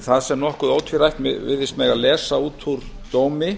það sem nokkuð ótvírætt virðist mega lesa út úr dómi